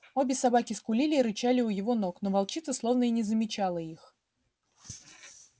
обе собаки скулили и рычали у его ног но волчица словно и не замечала их